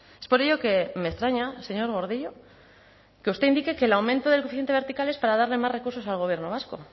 es por ello que me extraña señor gordillo que usted indique que el aumento del coeficiente vertical es para darle más recursos al gobierno vasco